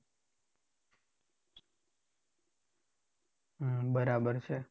હમ બરાબર છે.